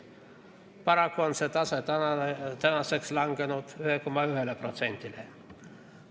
Paraku on see tase tänaseks langenud 1,1%-le.